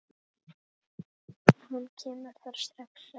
Hann kemur þér strax að.